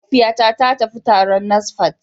Mahaifiyata ta tafi taron NASFAT